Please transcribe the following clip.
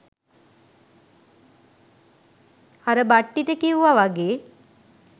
අර බට්ටිට කිව්ව වගේ